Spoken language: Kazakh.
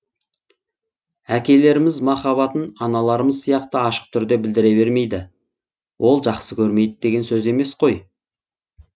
әкелеріміз махаббатын аналарымыз сияқты ашық түрде білдіре бермейді ол жақсы көрмейді деген сөз емес қой